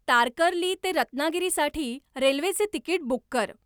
तारकर्ली ते रत्नागिरीसाठी रेल्वेचे तिकीट बुक कर